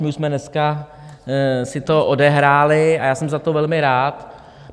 My už jsme dneska si to odehráli a já jsem za to velmi rád.